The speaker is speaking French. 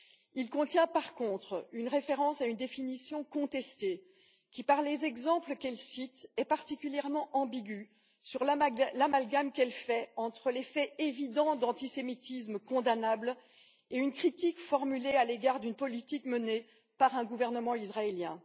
Il contient, par contre, une référence à une définition contestée qui, par les exemples qu'elle cite, est particulièrement ambiguë sur l'amalgame qu'elle fait entre les faits évidents d'antisémitisme condamnable et les critiques formulées à l'égard d'une politique menée par un gouvernement israélien.